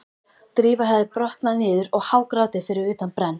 Drífa hafði brotnað niður og hágrátið fyrir utan brenn